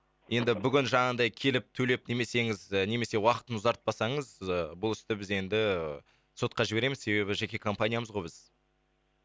енді бүгін жаңағындай келіп төлеп немесеңіз немесе уақытын ұзартпасаңыз ы бұл істі біз енді сотқа жібереміз себебі жеке компаниямыз ғой біз